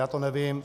Já to nevím.